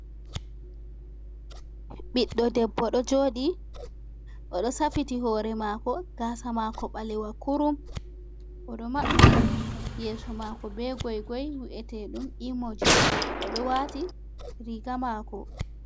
ɓiɗdo debbo do jodi, odo safiti hore mako gasa mako balewa kurum, odo mabbi yeso mako be gygoy wu’etedum imoji odo wati riga mako